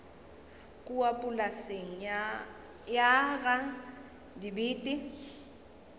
kua polaseng ya ga dibete